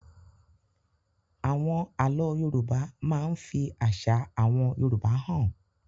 Àwọn àlọ́ Yorùbá máa ń fi àṣà àwọn Yorùbá hàn.